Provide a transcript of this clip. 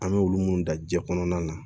An bɛ olu minnu da jiɲɛ kɔnɔna na